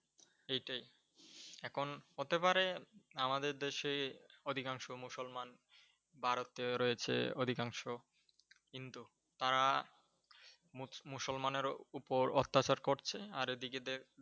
এইটাই, এখন হতে পারে আমাদের দেশে অধিকাংশ মুসলমান ভারতীয় রয়েছে অধিকাংশ কিন্তু তারা মুসলমানের ওপর অত্যাচার করছে আর এদিকে